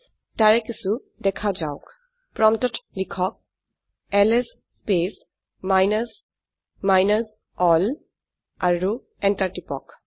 তাৰে কিছু দেখা যাওক প্ৰম্পটত লিখক LS space minus minus L আৰু এন্টাৰ টিপক